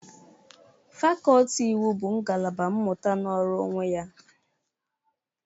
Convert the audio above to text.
Fakọltị iwu bụ ngalaba mmụta nọrọ onwe ya.